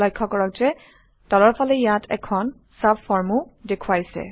লক্ষ্য কৰক যে তলৰফালে ইয়াত এখন চাবফৰ্মও দেখুৱাইছে